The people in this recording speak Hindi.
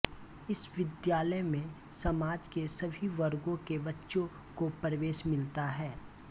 इस विद्यालय में समाज के सभी वर्गों के बच्चों को प्रवेश मिलता है